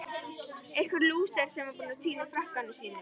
Einhver lúser sem er búinn að týna frakkanum sínum!